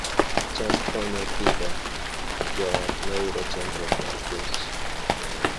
cham konyo Pidhoo joot mayudo chandruok mar kech